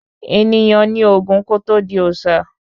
Ènìyàn nì Ògún kò tọ di Òòsà